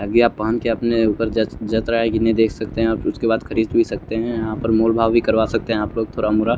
अभी आप पहन के अपने ऊपर जंच रहा है कि नहीं देख सकते हैं उसके बाद खरीद भी सकते हैं यहाँ पर मोल भाव भी करवा सकते हैं आप लोग थोरा मोरा।